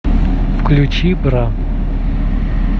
включи бра